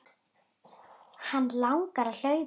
Hana langar að hlaupa.